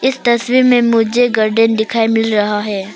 इस तस्वीर में मुझे गार्डन दिखाई मिल रहा है।